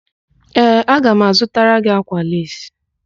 Ee, aga m azụtara gị ákwà leesi.